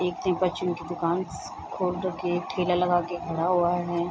एक टीप आ चुन की दुकान खोल रखी एक ठेला लगा के खड़ा हुआ है ।